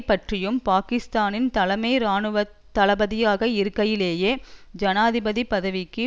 பற்றியும் பாகிஸ்தானின் தலைமை இராணுவ தளபதியாக இருக்கையிலேயே ஜனாதிபதி பதவிக்கு